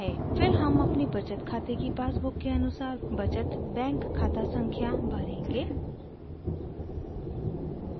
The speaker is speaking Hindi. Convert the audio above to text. फिर हम अपनी बचत खाते की पासबुक के अनुसार बचत बैंक खाता संख्या भरेंगे